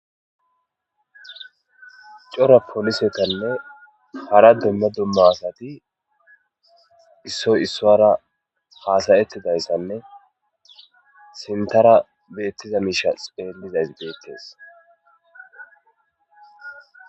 cora polisetanne hara dumma dumma asati issoy issuwaara haasa7ettidaysanne sinttara beettiza miisha xeellizays beettes.